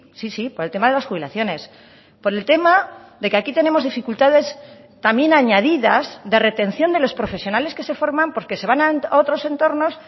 sí sí por el tema de las jubilaciones por el tema de que aquí tenemos dificultades también añadidas de retención de los profesionales que se forman porque se van a otros entornos